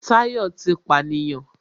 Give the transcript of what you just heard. Táyọ̀ ti pànìyàn